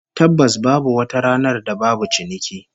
Tabbas babu wata ranar da babu ciniki